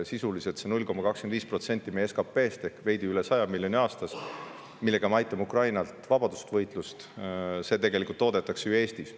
Sisuliselt see 0,25% meie SKT-st ehk veidi üle 100 miljoni aastas, millega me aitame Ukrainat vabadusvõitluses, toodetakse ju Eestis.